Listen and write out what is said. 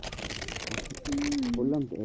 হম বললাম তো।